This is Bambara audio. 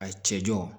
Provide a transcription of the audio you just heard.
A cɛ jɔn